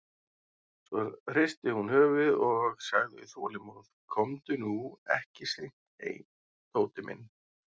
Svo hristi hún höfuðið og sagði þolinmóð: Komdu nú ekki seint heim, Tóti minn.